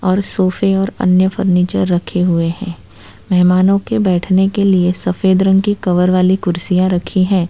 और सोफे और अन्य फर्नीचर रखे हुए हैं मेहमानों के बैठने के लिए सफेद रंग के कवर वाली कुर्सियां रखी हैं।